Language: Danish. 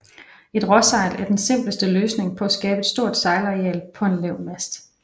Et råsejl er den simpleste løsning på at skabe et stort sejlareal på en lav mast